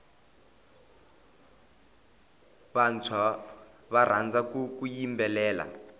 vantshwa va rhandza ku yimbelela